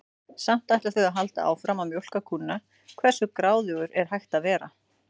Samt ætla þau að halda áfram að mjólka kúnna, hversu gráðugur er hægt að vera?